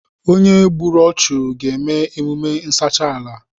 Onye gbùrù ọchu ga eme emume nsacha ala